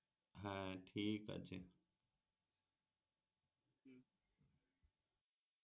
হ্যাঁ ঠিক আছে